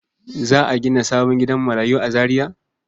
Za a gina sabon gidan marayu a Zariya?